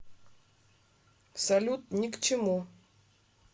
салют ни к чему